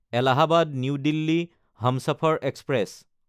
Allahabad new Delhi Humsafar express